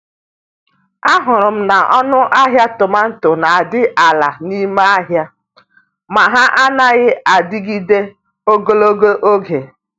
Ahụrụ m na ọnụ ahịa tomato n'adị ala n'ime ahịa, ma ha anaghị adịgide ogologo oge.